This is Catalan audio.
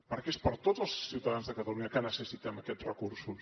perquè és per tots els ciutadans de catalunya que necessitem aquests recursos